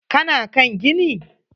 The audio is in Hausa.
Ka na kan gini?